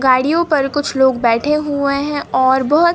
गाड़ियों पर कुछ लोग बैठे हुए हैं और बहुत--